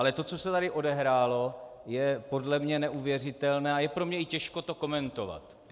Ale to, co se tady odehrálo, je podle mě neuvěřitelné a je pro mě i těžko to komentovat.